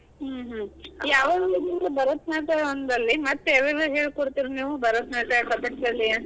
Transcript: ಹ್ಮ್ ಹ್ಮ್ ಹ್ಮ್. ಭರತನಾಟ್ಯ ಒಂದಲ್ದೆ ಮತ್ತ ಯಾವ್ಯಾವು ಹೇಳ್ ಕೊಡ್ತೀರಿ ನೀವು? ಭರತನಾಟ್ಯ, ಕಥಕ್ಕಳಿ?